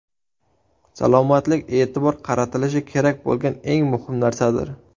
Salomatlik e’tibor qaratilishi kerak bo‘lgan eng muhim narsadir.